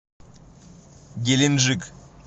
геленджик